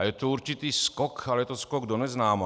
A je to určitý skok, a je to skok do neznáma.